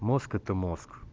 мозг это мозг